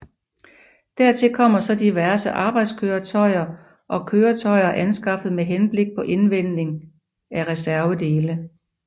Dertil kommer så diverse arbejdskøretøjer og køretøjer anskaffet med henblik på indvending af reservedele